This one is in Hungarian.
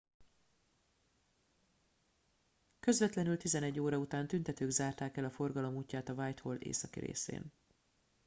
közvetlenül 11:00 óra után tüntetők zárták el a forgalom útját a whitehall északi részén